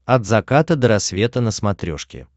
от заката до рассвета на смотрешке